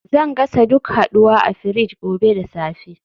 Zan gasa duk haduwa a fridge gobe da safe